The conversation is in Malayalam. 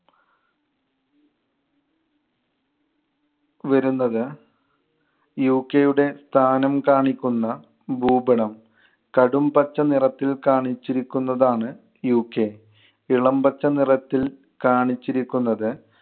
വരുന്നത് UK യുടെ സ്ഥാനം കാണിക്കുന്ന ഭൂപടം. കടും പച്ച നിറത്തിൽ കാണിച്ചിരിക്കുന്നതാണ് UK. ഇളം പച്ച നിറത്തിൽ കാണിച്ചിരിക്കുന്നത്